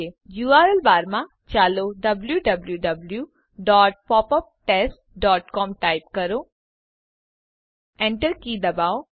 URL બારમાં ચાલો w w w dot pop up test dot com type કરીએ enter key દબાવો